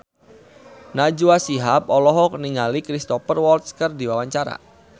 Najwa Shihab olohok ningali Cristhoper Waltz keur diwawancara